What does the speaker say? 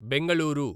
Bengaluru